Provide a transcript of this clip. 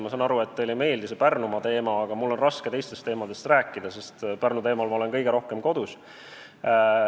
Ma saan aru, et teile ei meeldi see Pärnumaa teema, aga mul on raske teistel teemadel rääkida, sest Pärnu teemal ma olen kõige rohkem kodus.